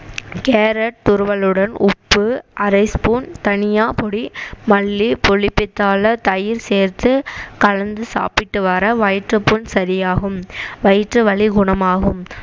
carrot துருவலுடன் உப்பு அரை spoon தனியா பொடி மல்லி புளிப்பித்தள தயிர் சேர்த்து கலந்து சாப்பிட்டு வர வயிற்றுப்புண் சரியாகும் வயிற்று வலி குணமாகும்